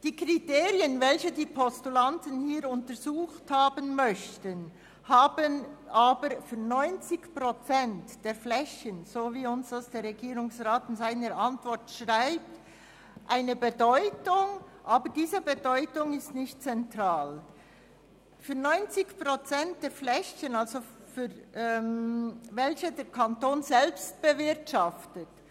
Die Kriterien, welche die Postulanten hier untersucht haben möchten, haben gemäss der schriftlichen Antwort des Regierungsrates für 90 Prozent der Flächen, die der Kanton selbst bewirtschaftet, eine Bedeutung, welche aber nicht zentral ist.